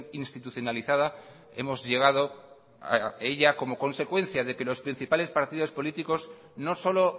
institucionalizada hemos llegado a ella como consecuencia de que los principales partidos políticos no solo